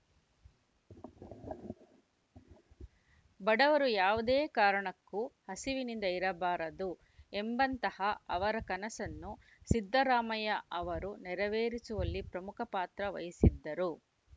ಬಡವರು ಯಾವುದೇ ಕಾರಣಕ್ಕೂ ಹಸಿವಿನಿಂದ ಇರಬಾರದು ಎಂಬಂತಹ ಅವರ ಕನಸನ್ನು ಸಿದ್ದರಾಮಯ್ಯ ಅವರು ನೆರೆವೇರಿಸುವಲ್ಲಿ ಪ್ರಮುಖ ಪಾತ್ರ ವಹಿಸಿದ್ದರು